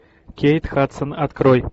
кейт хадсон открой